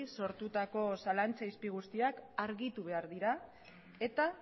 sortutako zalantza izpi guztiak argitu behar dira eta